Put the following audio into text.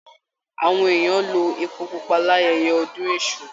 Àwọn èèyàn lo èpo pupa l'ayẹyẹ ọdún èṣù.